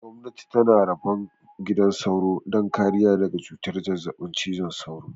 Gwamnati tana rabon gidan sauro don kariya daga cutar zazzaɓin cizon sauro